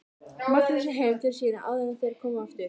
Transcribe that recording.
Magnúsi heim til sín áður en þeir komu aftur.